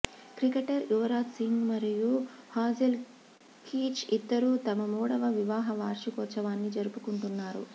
cricketer Yuvraj Singh మరియు Hazel Keech ఇద్దరూ తమ మూడవ వివాహ వార్షికోత్సవాన్ని జరుపుకుంటున్నారు